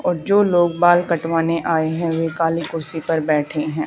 और जो लोग बाल कटवाने आए हैं वे काली कुर्सी पर बैठे हैं।